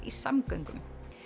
í samgöngum